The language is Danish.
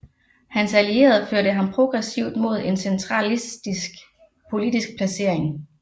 Hans allierede førte ham progressivt mod en centralistisk politisk placering